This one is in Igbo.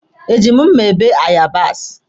Eji m mma bee yabasi?